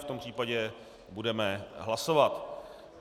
V tom případě budeme hlasovat.